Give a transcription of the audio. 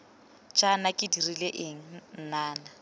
jaana ke dirile eng nnana